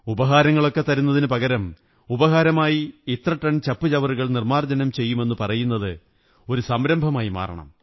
ഉപഹാരങ്ങളൊക്കെ തരുന്നതിനു പകരം ഉപഹാരമായി ഇത്രടൺ ചപ്പുചവറുകൾ നിര്മ്മാ ര്ജ്ജതനം ചെയ്യുമെന്നു പറയുന്നത് ഒരു സംരംഭമായി മാറണം